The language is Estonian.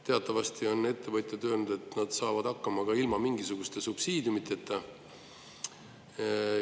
Teatavasti on ettevõtjad öelnud, et nad saavad hakkama ka ilma mingisuguste subsiidiumideta.